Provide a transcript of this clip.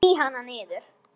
Ég sný hana niður.